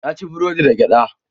Na ci burodin da gyada